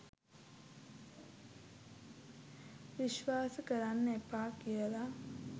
විස්වාස කරන්න එපා කියල.